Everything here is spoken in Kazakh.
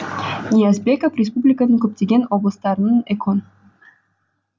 ниязбеков республиканың көптеген облыстарының экон